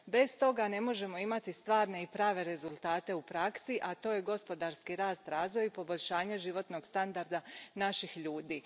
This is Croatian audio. Bez toga ne možemo imati stvarne i prave rezultate u praksi, a to su gospodarski rast, razvoj i poboljšanje životnog standarda naših ljudi.